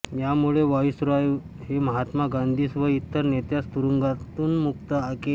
यामुळे व्हाईसरॉय ने महात्मा गांधीस व इतर नेत्यास तरुंगातून मुक्त केले